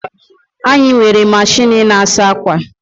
Anyị nwere machịnị na-asa akwa